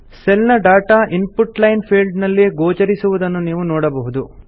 cell ನ data input line field ನಲ್ಲಿ ಗೋಚರಿಸಿರುವುದನ್ನು ನೀವು ನೋಡಬಹುದು